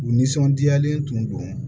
U nisɔndiyalen tun don